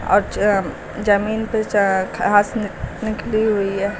और जमीन पर घास निकली हुई है।